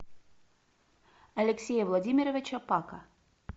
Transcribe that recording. алексея владимировича пака